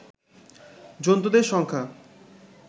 জন্তুদের সংখ্যা